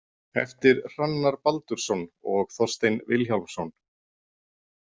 Eftir Hrannar Baldursson og Þorstein Vilhjálmsson.